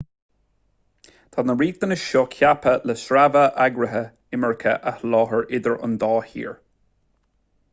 tá na riachtanais seo ceaptha le sreabhadh eagraithe imirce a sholáthar idir an dá thír